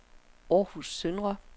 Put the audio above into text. Århus Søndre